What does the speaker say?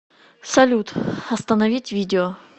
салют остановить видео